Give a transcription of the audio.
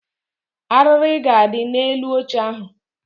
Arịrị ga-adị n'elu oche ahụ